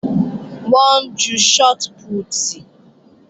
Wọ́n ń ju shọt pútì